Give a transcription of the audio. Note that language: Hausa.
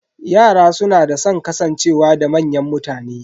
Yara suna da san kasancewa da manyan mutane.